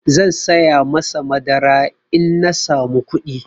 Zan saya masa madara in na samu kuɗi.